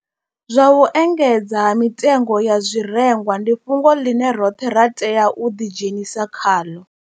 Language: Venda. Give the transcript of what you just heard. Zwa u engedzea ha mitengo ya zwirengwa ndi fhungo ḽine roṱhe ra tea u ḓi dzhenisa khaḽo.